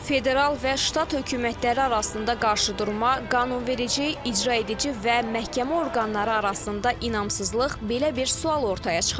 Federal və ştat hökumətləri arasında qarşıdurma, qanunverici, icraedici və məhkəmə orqanları arasında inamsızlıq belə bir sual ortaya çıxarır.